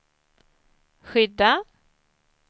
skydda